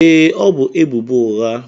Ee, ọ bu ebubo ụgha.